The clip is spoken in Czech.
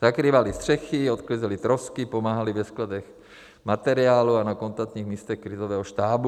Zakrývali střechy, odklízeli trosky, pomáhali ve skladech materiálu a na kontaktních místech krizového štábu.